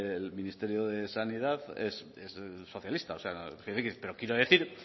el ministerio de sanidad es socialista pero quiero decir